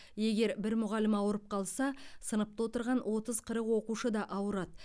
егер бір мұғалім ауырып қалса сыныпта отырған отыз қырық оқушы да ауырады